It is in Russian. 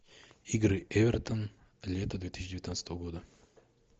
игры эвертон лето две тысячи девятнадцатого года